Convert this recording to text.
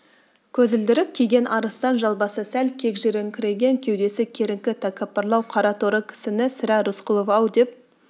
көзілдірік киген арыстан жал басы сәл кегжиіңкіреген кеудесі керіңкі тәкаппарлау қараторы кісіні сірә рысқұлов-ау деп